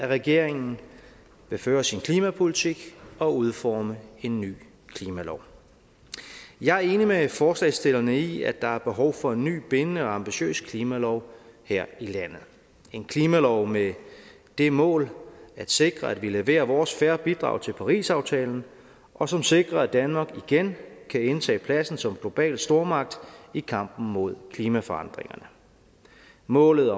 regeringen vil føre sin klimapolitik og udforme en ny klimalov jeg er enig med forslagsstillerne i at der er behov for en ny bindende og ambitiøs klimalov her i landet en klimalov med det mål at sikre at vi leverer vores fair bidrag til parisaftalen og som sikrer at danmark igen kan indtage pladsen som global stormagt i kampen mod klimaforandringerne målet